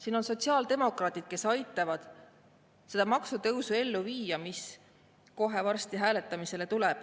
Siin on sotsiaaldemokraadid, kes aitavad ellu viia seda maksutõusu, mis kohe varsti hääletamisele tuleb.